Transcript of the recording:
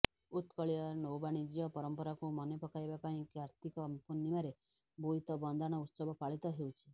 ଉତ୍କଳୀୟ ନୌବାଣିଜ୍ୟ ପରମ୍ପରାକୁ ମନେ ପକାଇବା ପାଇଁ କାର୍ତ୍ତିକ ପୂର୍ଣ୍ଣିମାରେ ବୋଇତ ବନ୍ଦାଣ ଉତ୍ସବ ପାଳିତ ହେଉଛି